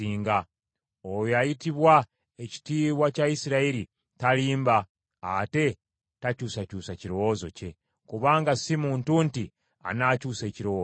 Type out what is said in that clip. Oyo ayitibwa Ekitiibwa kya Isirayiri talimba ate takyusakyusa kirowoozo kye, kubanga si muntu nti anaakyusa ekirowoozo kye.”